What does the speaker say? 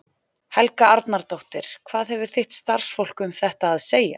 Helga Arnardóttir: Hvað hefur þitt starfsfólk um þetta að segja?